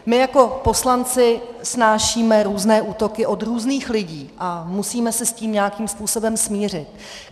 My jako poslanci snášíme různé útoky od různých lidí a musíme se s tím nějakým způsobem smířit.